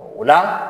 O la